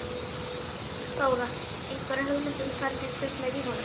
Þóra: Einhverja hugmynd um hvernig kviknaði í honum?